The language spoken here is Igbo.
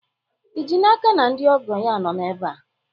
ị ji n'aka na ndị ọgọ ya nọ ebe a?